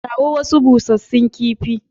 Kawo wasu bushshen kifi.